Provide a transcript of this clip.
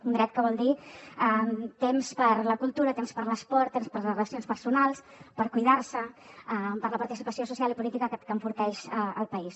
un dret que vol dir temps per a la cultura temps per a l’esport temps per a les relacions personals per cuidar se per a la participació social i política que enforteix el país